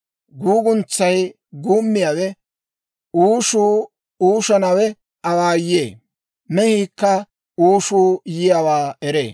Guuguntsay guummiyaawe uushuu uushottanawaa awaayyee; mehiikka uushuu yiyaawaa eree.